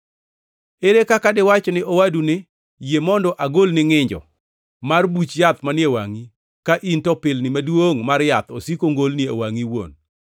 Ere kaka diwach ne owadu ni, ‘Yie mondo agolni ngʼinjo mar buch yath manie wangʼi,’ ka in to pilni maduongʼ mar yath osiko ngolni e wangʼi iwuon?